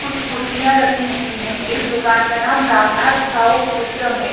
कुछ कुर्सियां रखी हुईं हैं इस दुकान का नाम रामनाथ साउथ सिस्टम है।